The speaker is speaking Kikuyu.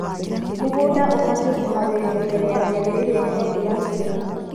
Mũgũnda ũbatie kũharĩrĩrio mbere ya kĩambĩrĩria kĩa mbura nĩguo